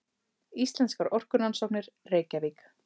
Íslenskar orkurannsóknir, Reykjavík.